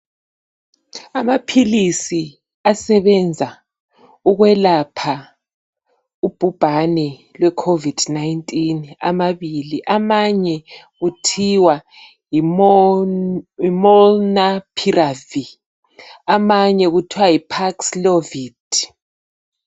Amaphilisi asebenza ukwelapha ubhubhane lweCovid 19 amabili amanye kuthiwa yiMonapirav amanye kuthiwa yiPapslovit.